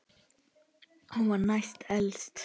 Hún var næst elst.